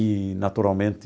E, naturalmente,